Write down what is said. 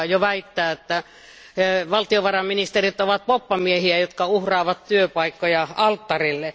Hän väittää, että valtionvarainministerit ovat poppamiehiä, jotka uhraavat työpaikkoja alttarille.